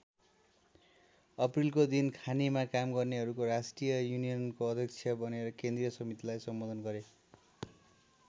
अप्रिलको दिन खानीमा काम गर्नेहरुको राष्ट्रिय युनियनको अध्यक्ष बनेर केन्द्रीय समितिलाई सम्बोधन गरे।